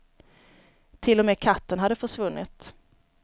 Till och med katten hade försvunnit.